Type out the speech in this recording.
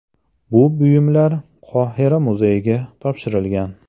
Bu buyumlar Qohira muzeyiga topshirilgan.